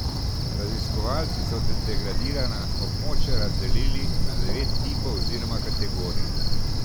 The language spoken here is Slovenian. Raziskovalci so degradirana območja razdelili na devet tipov oziroma kategorij.